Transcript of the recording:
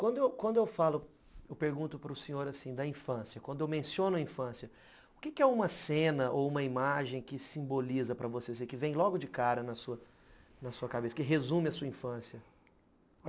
Quando quando eu falo, eu pergunto para o senhor assim, da infância, quando eu menciono a infância, o que é uma cena ou uma imagem que simboliza para você, que vem logo de cara na na sua cabeça, que resume a sua infância?